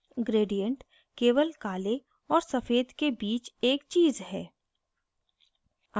gradient केवल काले और सफेद के बीच एक चीज़ है